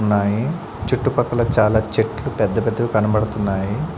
ఉన్నాయి చుట్టుపక్కల చాలా చెట్లు పెద్ద పెద్దవి కనపడుతున్నాయి.